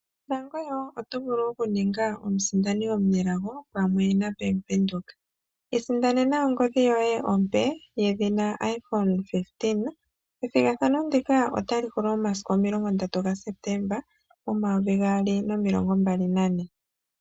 Oto vulu oku ninga omusindani omunelago pamwe naBank Windhoek. Isindanena ongodhi yoye ompe yedhina Iphone 16,ethigathano ndika otali hulu momasiku omilongo ndatu gaSeptemba 2024.